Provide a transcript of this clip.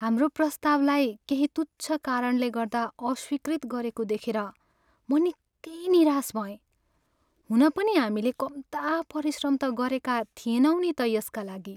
हाम्रो प्रस्तावलाई केही तुच्छ कारणले गर्दा अस्वीकृत गरेको देखेर म निकै निराश भएँ, हुन पनि हामीले कम्ता परिश्रम त गरेका थिएनौँ नि त यसका लागि।